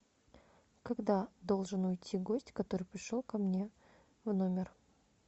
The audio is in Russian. когда должен уйти гость который пришел ко мне в номер